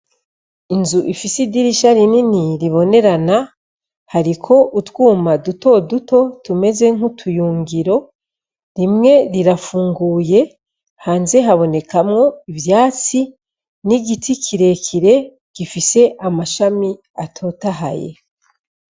Inzu ifise idirisha rinini ribonerana hariko utwuma dutoduto tuleze nkakayungiro rimwe rirafunguye hanze habonekamwo ivyatsi 'igiti kirekire gifise amashami atotahaye.